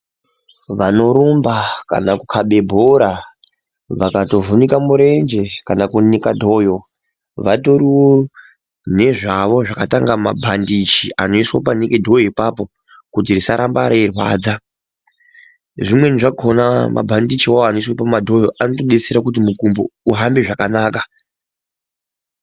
Vanorumba kana kukabe bhora vakatovhunika murenje kana kunika dhoyo vatoriwo nezvavo zvakaita kunga mabhandichi anoiswe panike dhoyo apapo kuti risaramba reirwadza. Zvimweni zvakona mabhandichiwo anoiswa pamadhoyo anotodetsera kuti muntu uhambe zvakanaka.